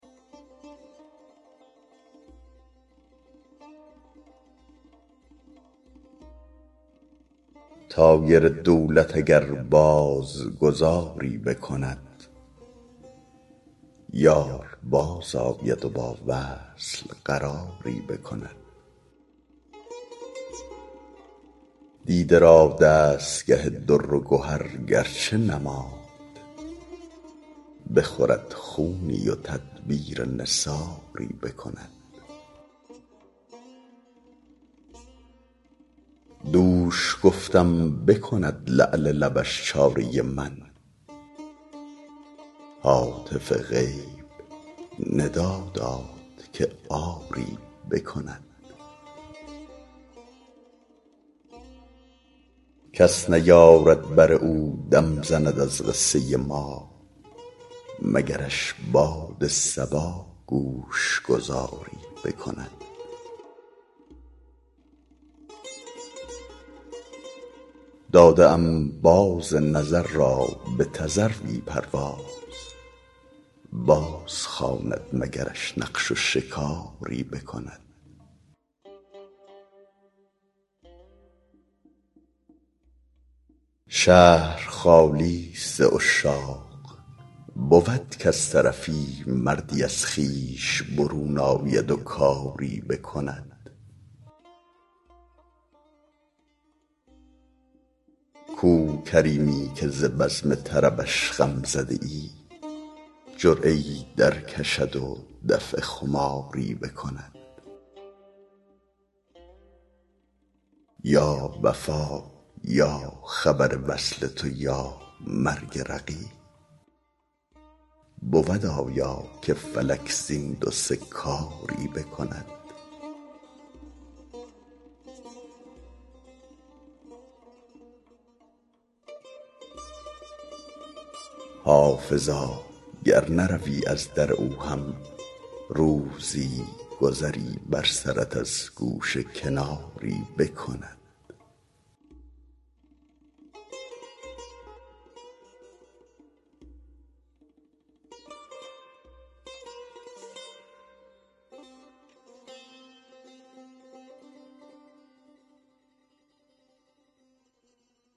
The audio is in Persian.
طایر دولت اگر باز گذاری بکند یار بازآید و با وصل قراری بکند دیده را دستگه در و گهر گر چه نماند بخورد خونی و تدبیر نثاری بکند دوش گفتم بکند لعل لبش چاره من هاتف غیب ندا داد که آری بکند کس نیارد بر او دم زند از قصه ما مگرش باد صبا گوش گذاری بکند داده ام باز نظر را به تذروی پرواز بازخواند مگرش نقش و شکاری بکند شهر خالی ست ز عشاق بود کز طرفی مردی از خویش برون آید و کاری بکند کو کریمی که ز بزم طربش غم زده ای جرعه ای درکشد و دفع خماری بکند یا وفا یا خبر وصل تو یا مرگ رقیب بود آیا که فلک زین دو سه کاری بکند حافظا گر نروی از در او هم روزی گذری بر سرت از گوشه کناری بکند